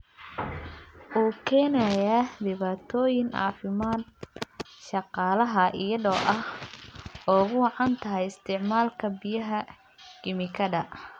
U keenaya dhibaatooyin caafimaad shaqaalaha iyadoo ay ugu wacan tahay isticmaalka biyaha kiimikada.